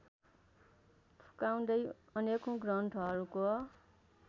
फुकाउँदै अनेकौँ ग्रन्थहरूको